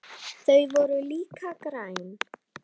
Þau voru líka græn.